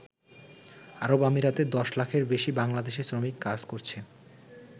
আরবআমিরাতে ১০ লাখের বেশি বাংলাদেশি শ্রমিক কাজ করছে।